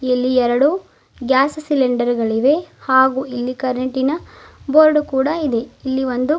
ಇಲ್ಲಿ ಎರಡು ಗ್ಯಾಸ್ ಸಿಲಿಂಡರ್ಗಳಿವೆ ಹಾಗು ಇಲ್ಲಿ ಕರಂಟಿನ ಬೋರ್ಡು ಕೂಡ ಇದೆ ಇಲ್ಲಿ ಒಂದು--